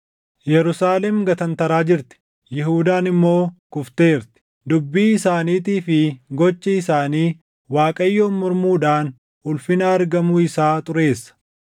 Yerusaalem gatantaraa jirti; Yihuudaan immoo kufteerti; dubbii isaaniitii fi gochi isaanii Waaqayyoon mormuudhaan ulfina argamuu isaa xureessa.